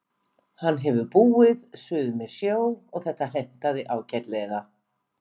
Hann hefur búið suður með sjó og þetta hentaði ágætlega.